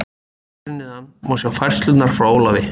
Hér að neðan má sjá færslurnar frá Ólafi.